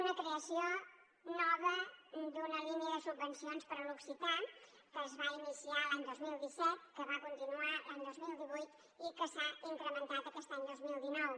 una creació nova d’una línia de subvencions per a l’occità que es va iniciar l’any dos mil disset que va continuar l’any dos mil divuit i que s’ha incrementat aquest any dos mil dinou